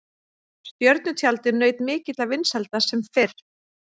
Stjörnutjaldið naut mikilla vinsælda sem fyrr.